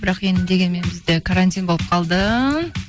бірақ енді дегенмен бізде карантин болып қалды